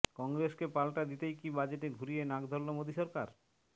কংগ্রেসকে পাল্টা দিতেই কি বাজেটে ঘুরিয়ে নাক ধরল মোদী সরকার